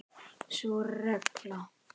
Sú regla.